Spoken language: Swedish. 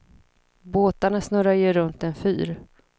Båtarna snurrar ju runt en fyr.